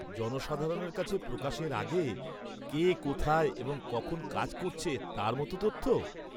জনসাধারণের কাছে প্রকাশের আগে কে কোথায় এবং কখন কাজ করছে তার মতো তথ্য?